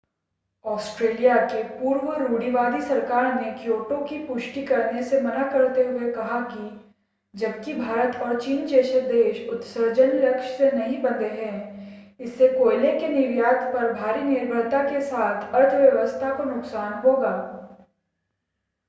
Australia की पूर्व रूढ़िवादी सरकार ने क्योटो की पुष्टि करने से मना करते हुए कहा कि जबकि भारत और चीन जैसे देश उत्सर्जन लक्ष्य से नहीं बंधे हैं इससे कोयले के निर्यात पर भारी निर्भरता के साथ अर्थव्यवस्था को नुकसान होगा